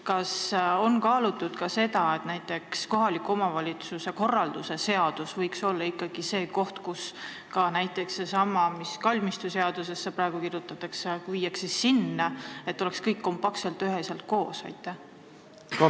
Kas on kaalutud seda, et näiteks kohaliku omavalitsuse korralduse seadus võiks olla ikkagi see koht, kuhu pannakse ka see, mis praegu kalmistuseadusesse kirjutatakse, et kõik oleks kompaktselt koos?